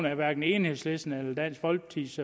at hverken enhedslistens eller dansk folkepartis